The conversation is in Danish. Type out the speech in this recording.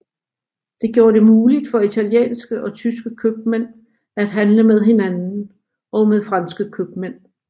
Det gjorde det muligt for italienske og tyske købmænd at handle med hinanden og med franske købmænd